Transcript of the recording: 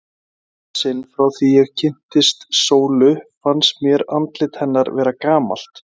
Í fyrsta sinn frá því ég kynntist Sólu fannst mér andlit hennar vera gamalt.